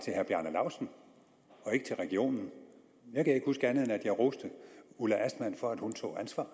herre bjarne laustsen og ikke regionen jeg kan ikke huske andet end at jeg roste ulla astman for at hun tog ansvar